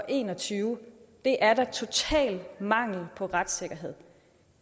en og tyve det er da total mangel på retssikkerhed